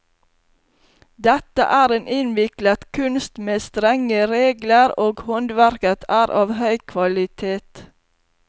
Dette er en innviklet kunst med strenge regler, og håndverket er av høy kvalitet.